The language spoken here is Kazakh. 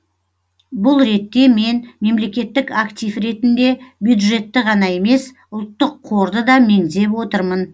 бұл ретте мен мемлекеттік актив ретінде бюджетті ғана емес ұлттық қорды да меңзеп отырмын